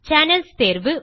Channelsதேர்வு